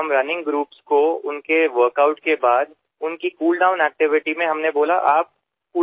या मोहिमेत आम्ही धावणाऱ्या गटांना त्यांच्या व्यायामानंतर त्यांच्या कुल डाऊन ऍक्टिव्हिटी मध्ये कचरा उचलायची सूचना केली